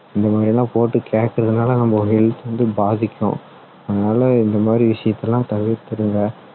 இந்த மாதிரி எல்லாம் போட்டு கேட்குறதுனால நம்ம health வந்து பாதிக்கும் அதனால இந்த மாதிரி விஷயத்தை எல்லாம் தவிர்த்துருங்க